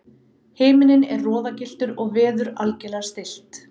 Himinninn er roðagylltur og veður algerlega stillt.